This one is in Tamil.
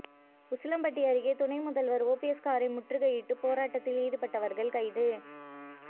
உசிலம்பட்டி அருகே துணை முதல்வர் ஓபிஎஸ் காரை முற்றுகையிட்டு போராட்டத்தில் ஈடுபட்டவர்கள் கைது